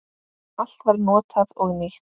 Allt var notað og nýtt.